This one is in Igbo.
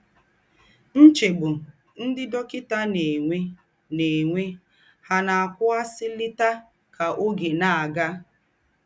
Ńchègbù ńdị́ dọ́kịtà ná-ènwè ná-ènwè hà ná-àkụ̀wụ̀sìlàtà kà ọ́gè ná-àgà?